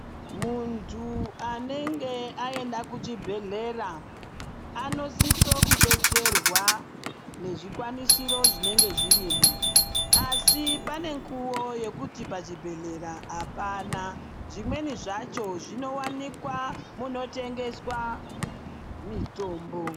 Muntu anenge aenda kuchibhedhlera anosiso kudetserwa ngezvikwanisiro zvinenge zvirimo asi pane mikuwo yekuti pachibhedhlera apana. Zvimweni zvacho zvinowanikwa munotengeswa mitombo.